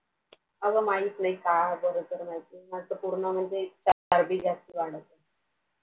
अ ग माहिती नाही काय आजार विजार माहिती नाही म्हणजे पूर्ण नुसतं चरबी जा स्त अह अह वाढली